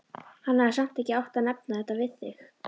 Hún hefði samt ekki átt að nefna þetta við þig.